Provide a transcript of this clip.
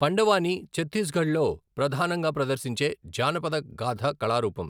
పండవానీ ఛత్తీస్గఢ్లో ప్రధానంగా ప్రదర్శించే జానపద గాథ కళారూపం.